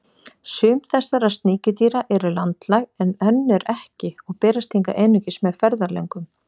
Sum þessara sníkjudýra eru landlæg en önnur ekki og berast hingað einungis með ferðalöngum.